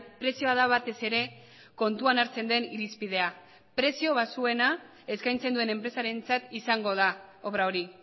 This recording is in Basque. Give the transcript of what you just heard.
prezioa da batez ere kontuan hartzen den irizpidea prezio baxuena eskaintzen duen enpresarentzat izango da obra hori